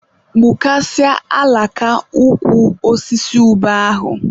Gbukasịa alaka ukwu osisi ube ahụ!